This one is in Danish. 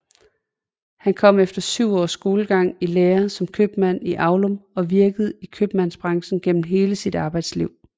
Han kom efter 7 års skolegang i lære som købmand i Aulum og virkede i kømandsbranchen gennem hele sit arbejdsliv